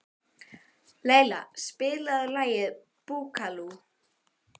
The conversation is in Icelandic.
Leila, spilaðu lagið „Búkalú“.